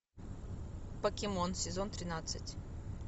покемон сезон тринадцать